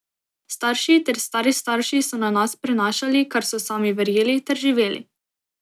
Starši ter stari starši so na nas prenašali, kar so sami verjeli ter živeli.